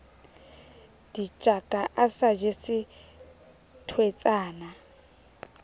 ditjaka a sa jese thweetsana